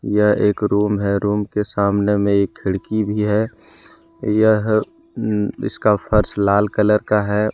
यह एक रूम है रूम के सामने में एक खिड़की भी है यह इसका फर्श लाल कलर का है।